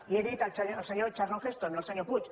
i he dit el senyor charlton heston no el senyor puig